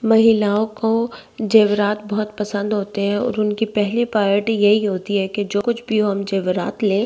महिलाओं को जेबरात बहुत पसंद होते हैं और उनकी पहली प्रायोरिटी यही होती है कि जो कुछ भी हो हम जेबरात लें।